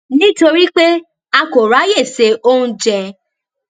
nítorí pé a kò ráyè se oúnjẹ